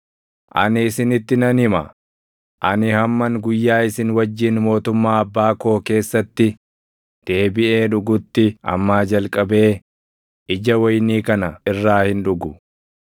Ani isinitti nan hima; ani hamman guyyaa isin wajjin mootummaa Abbaa koo keessatti deebiʼee dhugutti ammaa jalqabee ija wayinii kana irraa hin dhugu.”